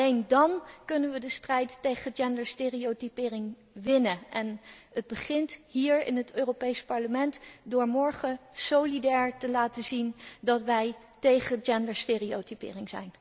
Alleen dan kunnen we de strijd tegen genderstereotypering winnen. En het begint hier in het Europees Parlement door morgen solidair te zijn en te laten zien dat wij tegen genderstereotypering zijn.